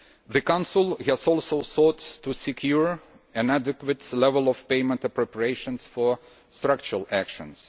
The Council has also sought to secure an adequate level of payment appropriations for structural actions.